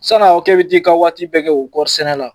Sana ka fɔ k'e bi t'i ka waati bɛɛ kɛ o kɔri sɛnɛ la